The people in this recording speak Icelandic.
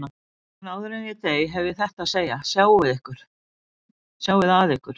En áður en ég dey hef ég þetta að segja: Sjáið að ykkur.